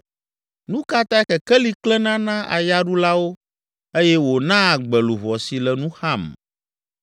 “Nu ka tae kekeli klẽna na ayaɖulawo eye wònaa agbe luʋɔ si le nu xam?